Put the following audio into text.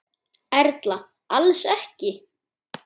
Erla: Alls ekki?